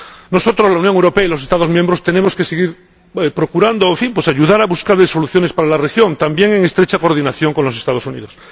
Nosotros, la Unión Europea y los Estados miembros, tenemos que seguir procurando ayudar a buscar soluciones para la región, también en estrecha coordinación con los Estados Unidos.